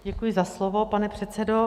Děkuji za slovo, pane předsedo.